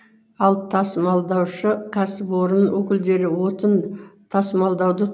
ал тасымалдаушы кәсіпорын өкілдері отын тасымалдауды